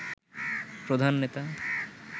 প্রধান নেতা